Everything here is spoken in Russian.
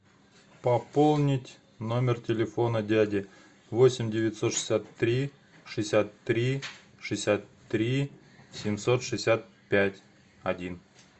пополнить номер телефона дяди восемь девятьсот шестьдесят три шестьдесят три шестьдесят три семьсот шестьдесят пять один